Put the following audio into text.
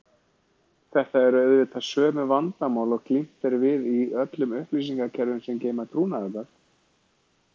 Þetta eru auðvitað sömu vandamál og glímt er við í öllum upplýsingakerfum sem geyma trúnaðargögn.